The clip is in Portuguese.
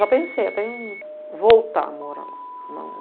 Já pensei até em voltar a morar lá.